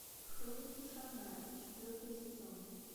хроники шаннары четвертый сезон